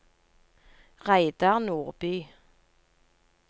Reidar Nordby